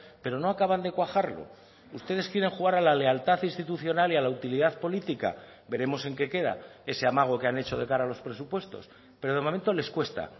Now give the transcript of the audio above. pero no acaban de cuajarlo ustedes quieren jugar a la lealtad institucional y a la utilidad política veremos en qué queda ese amago que han hecho de cara a los presupuestos pero de momento les cuesta